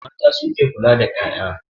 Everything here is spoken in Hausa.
Mata su ke kula da 'ya'ya.